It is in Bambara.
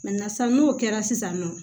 sisan n'o kɛra sisan nɔ